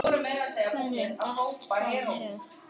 Hverjum datt það í hug?!